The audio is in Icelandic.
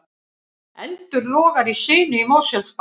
Eldur logar í sinu í Mosfellsbæ